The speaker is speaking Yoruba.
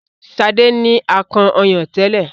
Sade ní akàn ọyàn tẹlẹ.